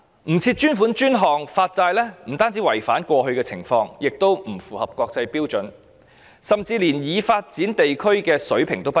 不設專款專項發債不單違反慣例，也不符合國際標準，甚至連已發展地區的水平也不如。